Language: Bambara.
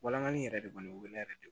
Walangali yɛrɛ de kɔni bɛ ne yɛrɛ de bolo